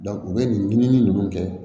u bɛ nin ɲini ninnu kɛ